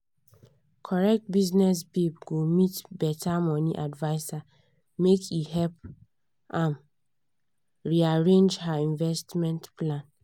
correct business babe go meet better money adviser make e help um rearrange her investment plan.